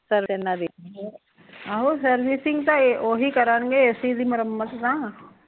ਆਹੋ ਸਰਵਿਸਾਇੰਗ ਤਾਂ ਓਹੀ ਕਰਨਗੇ ਮੁਰਮਤ ਤਾਂ